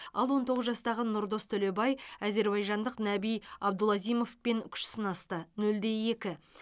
ал он тоғыз жастағы нұрдос төлебай әзербайжандық наби абдулазимовпен күш сынасты нөл де екі